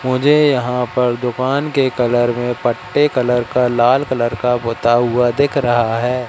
मुझे यहां पर दुकान के कलर में पट्टे कलर का लाल कलर का गोता हुआ दिख रहा है।